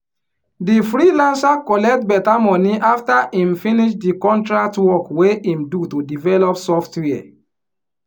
di freelancer collect better money after him finish di contract work wey him do to develop software